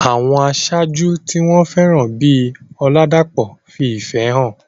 Àwọn aṣáájú tí wọ́n fẹ́ràn bíi Oladapo fi ìfẹ́ hàn.